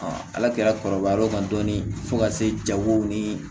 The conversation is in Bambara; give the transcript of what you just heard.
ala kɛra kɔrɔbayar'o kan dɔɔni fo ka se jago ni